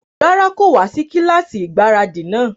Rárá, kò wá sí kílásì ìgbáradì náà